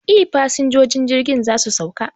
E, fasinjojin jirgin za su sauka